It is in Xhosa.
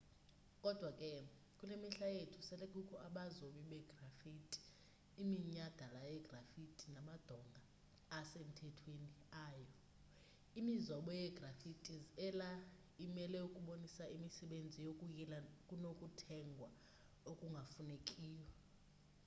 kodwa ke kule mihla yethu sele kukho abazobi begraffiti iminyhadala yegraffiti namadonga asemthethweni ayo imizobo yegraffitis ela imele ukubonisa imisebenzi yokuyila kunokuthegwa okungafundekiyo